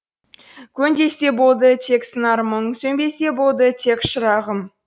көн десе болды тек сыңар мұң сөнбесе болды тек шырағым